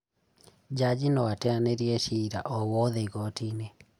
Jaji noateanĩrie ciira owothe igotiinĩ